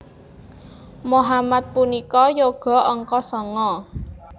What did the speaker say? Mohamad punika yoga angka sanga